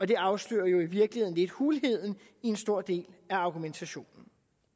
det afslører jo i virkeligheden lidt hulheden i en stor del af argumentationen